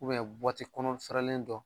kɔnɔ fɛrɛlen dɔn